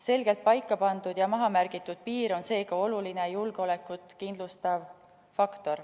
Selgelt paika pandud ja maha märgitud piir on seega oluline julgeolekut kindlustav faktor.